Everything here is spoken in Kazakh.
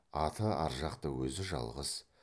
аты ар жақта өзі жалғыз